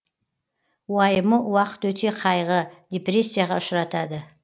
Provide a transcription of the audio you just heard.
уайымы уақыт өте қайғы депрессияға ұшыратады